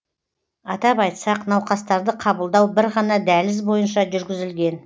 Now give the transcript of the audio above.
атап айтсақ науқастарды қабылдау бір ғана дәліз бойынша жүргізілген